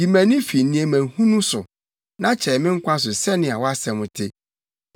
Yi mʼani fi nneɛma hunu so; na kyɛe me nkwa so sɛnea wʼasɛm te.